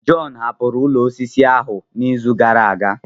John hapụrụ ụlọ osisi ahụ n'izu gara aga.